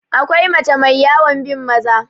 akwai mace mai yawan bin Maza